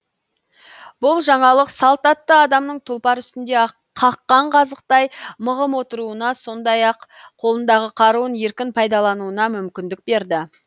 бұл жаңалық салт атты адамның тұлпар үстінде қаққан қазықтай мығым отыруына сондай ақ қолындағы қаруын еркін пайдалануына мүмкіндік берді